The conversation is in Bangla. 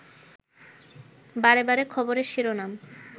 বারেবারে খবরের শিরোনাম